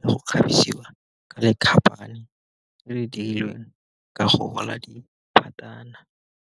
le go kgabisiwa ka le le le dirilweng ka go gola di .